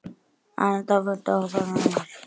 Anita, viltu hoppa með mér?